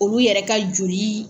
Olu yɛrɛ ka joli.